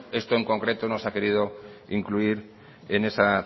esto en concreto no se ha querido incluir en esa